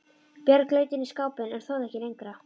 Björg leit inn í skápinn en þorði ekki lengra.